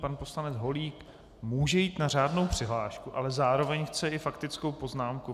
Pan poslanec Holík může jít na řádnou přihlášku, ale zároveň chce i faktickou poznámku.